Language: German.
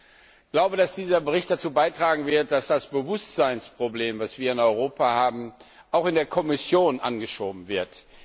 Ich glaube, dass dieser Bericht dazu beitragen wird, dass das Bewusstseinsproblem, das wir in Europa haben, auch in der Kommission aufgegriffen wird.